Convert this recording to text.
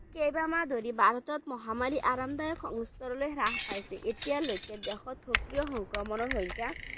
কেইবা মাহ ধৰি ভাৰতত মহামাৰী আৰামদায়ক সংস্তৰলৈ হ্ৰাস পাইছে এতিয়ালৈকে দেশত সক্ৰিয় সংক্ৰমণৰ সংখ্যা